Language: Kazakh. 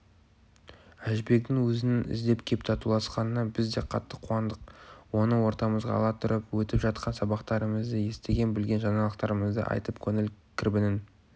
әжібектің өзінің іздеп кеп татуласқанына біз де қатты қуандық оны ортамызға ала тұрып өтіп жатқан сабақтарымызды естіген-білген жаңалықтарымызды айтып көңіл кірбіңін